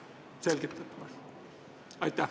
Selgitage, palun!